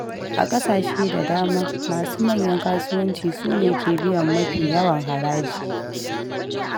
A kasashe da dama, masu manyan kasuwanci su ne ke biyan mafi yawan haraji.